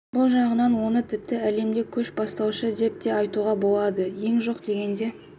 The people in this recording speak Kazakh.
бұл жағынан оны тіпті әлемде көш бастаушы қала деп те айтуға болады ең жоқ дегенде